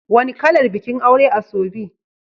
Wani kalar bikin aure asoebi?